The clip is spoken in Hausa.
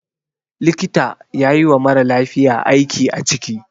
Likta yayi wa maralafiya aiki a ciki